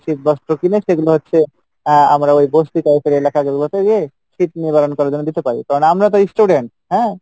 শীত বস্ত্র কিনে সেগুলো হচ্ছে আহ আমরা ওই বসতি type এর এলাকা যেগুলোতে গিয়ে শীত নিতরন করার জন্য দিতে পারি কারন আমরা তো student হ্যাঁ